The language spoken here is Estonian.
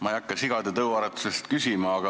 Ma ei hakka sigade tõuaretuse kohta küsima.